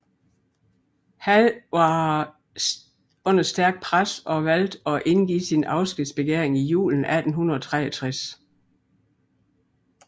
Hall var under stærkt pres og valgte at indgive sin afskedsbegæring i julen 1863